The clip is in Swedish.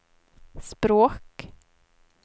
språk